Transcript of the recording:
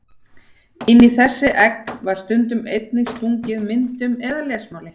Inn í þessi egg var stundum einnig stungið myndum eða lesmáli.